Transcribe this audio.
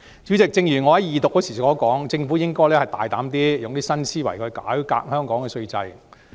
主席，正如我在二讀時所說，政府應該大膽一點，用新思維來改革香港的稅制。